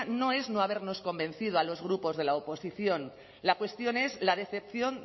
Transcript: no es no habernos convencido a los grupos de la oposición la cuestión es la decepción